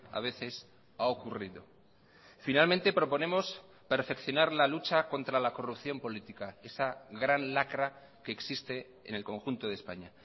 a veces ha ocurrido finalmente proponemos perfeccionar la lucha contra la corrupción política esa gran lacra que existe en el conjunto de españa